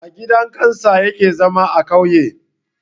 A gidan kansa yake zama a kauye